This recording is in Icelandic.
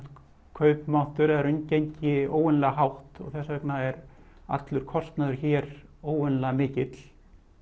kaupmáttur eða raungengi óvanalega hátt og þess vegna er allur kostnaður hér óvanalega mikill